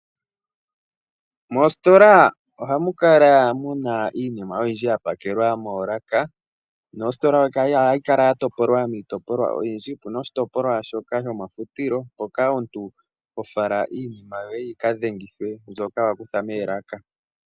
Moositola ohamu kala mu na iinima oyindji ya pakelwa moolaka, mositola ohayi kala ya topolwa miitopolwa oyindji, opu na oshitopolwa shoka shomafutilo, mpoka omuntu ho fala iinima yoye yika dhengithwe mbyoka wa kutha moolaka.